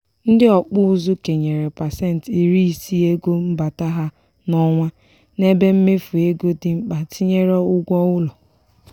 ndị ọkpụ ụzụ kenyere pasenti iri isii ego mbata ha n'ọnwa n'ebe mmefu ego di mkpa tinyere ụgwọ ụlọ.